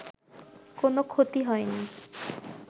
কোনো ক্ষতি হয়নি